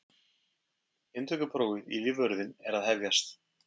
Inntökuprófið í lífvörðinn er að hefjast.